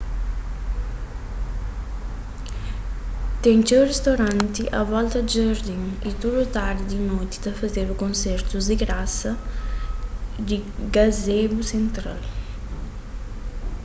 ten txeu ristoranti a volta di jardin y tudu tardi y noti ta fazedu konsertus di grasa di gazebo sentral